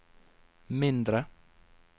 mindre